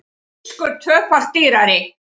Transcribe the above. Fiskur tvöfalt dýrari